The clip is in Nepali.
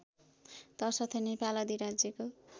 तसर्थ नेपाल अधिराज्यको